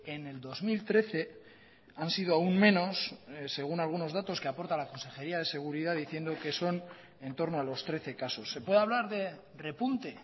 en el dos mil trece han sido aún menos según algunos datos que aporta la consejería de seguridad diciendo que son en torno a los trece casos se puede hablar de repunte